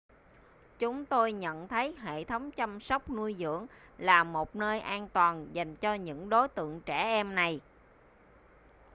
chúng tôi nhận thấy hệ thống chăm sóc nuôi dưỡng là một nơi an toàn dành cho những đối tượng trẻ em này